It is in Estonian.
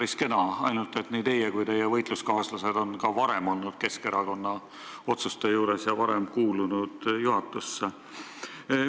Samas olete nii teie kui teie võitluskaaslased ka varem olnud Keskerakonna otsuste langetamise juures, kuna te olete kuulunud juhatusse.